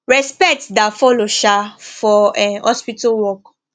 respect da follow um for um hospital work